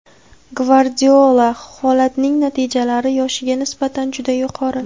Gvardiola: Holandning natijalari yoshiga nisbatan juda yuqori.